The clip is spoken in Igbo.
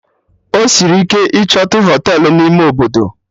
Ọ sịrị ike ichotu Họtelụ n'ime Obodo